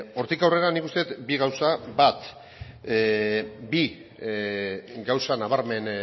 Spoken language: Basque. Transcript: hortik aurrera nik uste dut bi gauza bi gauza nabarmen